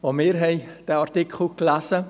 Auch wir haben diesen Artikel gelesen.